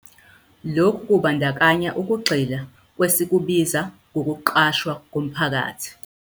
Lokhu kubandakanya ukugxila kwesikubiza 'ngokuqashwa komphakathi'.